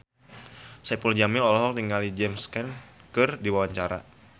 Saipul Jamil olohok ningali James Caan keur diwawancara